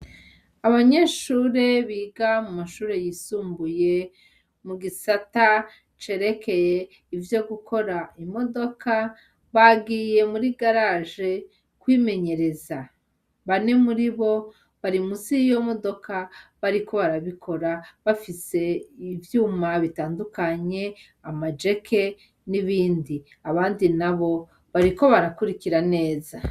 Abanyeshuri biga mu mashure yisumbuye mu gisata cerekeye ivyo gukora imodoka bagiye muri garage kwimenyereza, bane muri bo bagiye musi yiyo modoka bariko barabikora bafise ivuma bitandukanye amajeke n'ibindi. Abandi nabo bariko barakurikira neza.